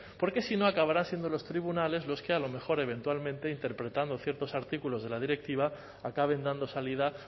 porque si no acabarán siendo los tribunales los que a lo mejor eventualmente interpretando ciertos artículos de la directiva acaben dando salida